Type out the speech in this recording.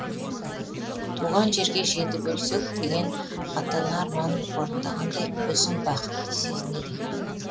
туған жерге жетіп өлсек деген ата ана арманын орындағандай өзін бақытты сезінеді